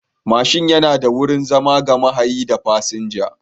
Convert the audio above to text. Babur yana da wurin zama ga mahayi da fasinja.